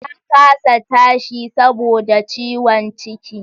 Ta kasa tashi saboda ciwon ciki